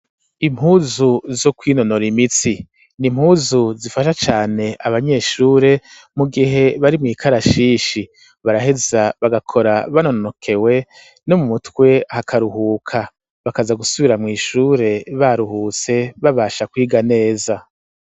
Impuzu zo kwinonora imitsi n'impuzu zifasha cane abanyeshure mu gihe bari mw'ikarashishi baraheza bagakora banonokewe no mu mutwe hakaruhuka bakaza gusubira mw'ishure baruhutse babasha kwiga neza.